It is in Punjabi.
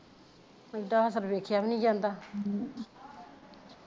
ਬੰਦਾ ਵੇਖਿਆ ਵੀ ਨਾ ਜਾਂਦਾ